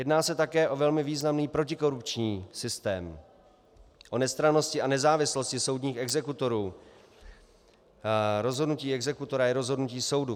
Jedná se také o velmi významný protikorupční systém o nestrannosti a nezávislosti soudních exekutorů, rozhodnutí exekutora je rozhodnutí soudu.